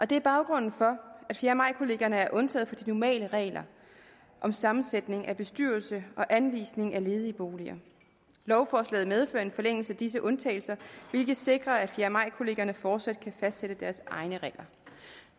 det er baggrunden for at fjerde maj kollegierne er undtaget fra normale regler om sammensætning af bestyrelse og anvisning af ledige boliger lovforslaget medfører en forlængelse af disse undtagelser hvilket sikrer at fjerde maj kollegierne fortsat kan fastsætte deres egne regler